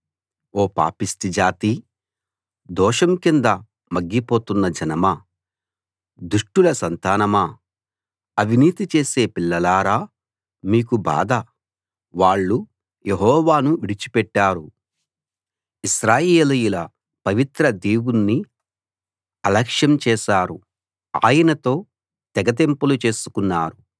ఓ పాపిష్టి జాతీ దోషం కింద మగ్గిపోతున్న జనమా దుష్టుల సంతానమా అవినీతి చేసే పిల్లలారా మీకు బాధ వాళ్ళు యెహోవాను విడిచిపెట్టారు ఇశ్రాయేలీయుల పవిత్ర దేవుణ్ణి అలక్ష్యం చేశారు ఆయనతో తెగతెంపులు చేసుకున్నారు